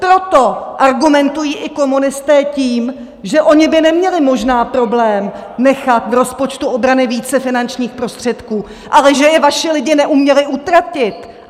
Proto argumentují i komunisté tím, že oni by neměli možná problém nechat v rozpočtu obrany více finančních prostředků, ale že je vaši lidi neuměli utratit!